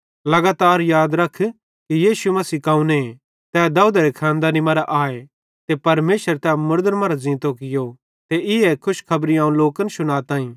लगातार याद रख कि यीशु मसीह कौने तै दाऊदेरे खानदेंनी मरां आए ते परमेशरे तै मुड़दन मरां ज़ींतो कियो ते ईए खुशखबरी अवं लोकन शुनाताईं